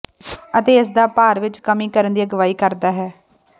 ਅਤੇ ਇਸ ਦਾ ਭਾਰ ਵਿੱਚ ਕਮੀ ਕਰਨ ਦੀ ਅਗਵਾਈ ਕਰਦਾ ਹੈ